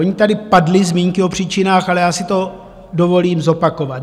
Ony tady padly zmínky o příčinách, ale já si to dovolím zopakovat.